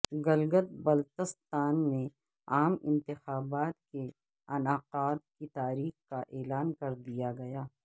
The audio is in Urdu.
گلگت بلتستان میں عام انتخابات کے انعقاد کی تاریخ کا اعلان کر دیا گیا